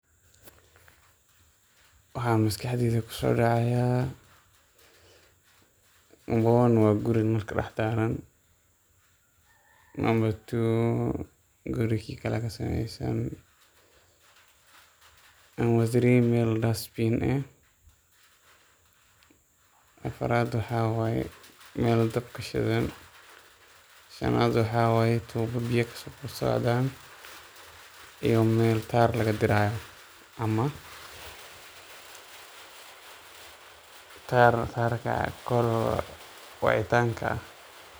Waxa maskaxdeyda kusodacaya Number one waa guuri nal kadah daraan, nambar Number two guuri kii kale kasameysan, Number three meel dustbin eeh afaraad maxa waye meel daab kashidan, shanad maxa waye tuubad biyo kasocdan iyo meel qaar laga diirayo amax kaar call kaar wacitanka aah.